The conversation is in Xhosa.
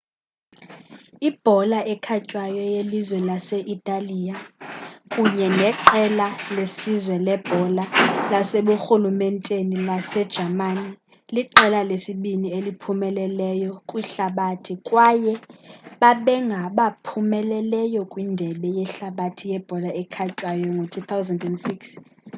ibhola ekhatywayo yelizwe lase-italiya kunye neqela lesizwe lebhola laseburhulumenteni lasejamani liqela lesibini eliphumeleleyo kwihlabathi kwaye babengabaphumeleleyo kwindebe yehlabathi yebhola ekhatywayo ngo-2006